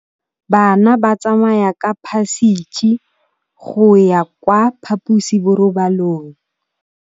Bana ba tsamaya ka phašitshe go ya kwa phaposiborobalong.